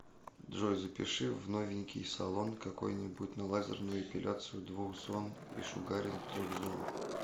джой запиши в новенький салон какой нибудь на лазерную эпиляцию двух зон и шугаринг трех зон